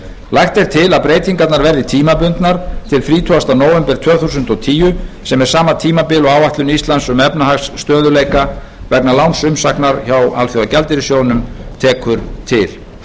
lagt er til að breytingarnar verði tímabundnar til þrítugasta nóvember tvö þúsund og tíu sem er sama tímabil og áætlun íslands um efnahagsstöðugleika vegna lánsumsóknar hjá alþjóðagjaldeyrissjóðnum tekur til